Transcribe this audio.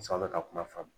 aw bɛ ka kuma faamu